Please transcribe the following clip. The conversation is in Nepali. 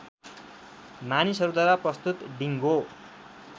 मानिसहरूद्वारा प्रस्तुत डिङ्गो